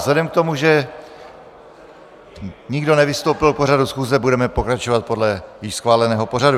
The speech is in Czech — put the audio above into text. Vzhledem k tomu, že nikdo nevystoupil k pořadu schůze, budeme pokračovat podle již schváleného pořadu.